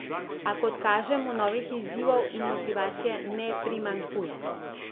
A, kot kaže, mu novih izzivov in motivacije ne primanjkuje.